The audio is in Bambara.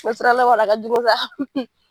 a ka jugu sa.